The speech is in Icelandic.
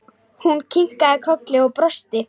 Hún kinkaði kolli og brosti.